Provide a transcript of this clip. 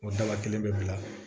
O daba kelen bɛ bila